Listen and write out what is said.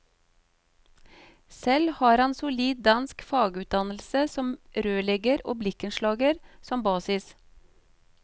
Selv har han solid dansk fagutdannelse som rørlegger og blikkenslager som basis.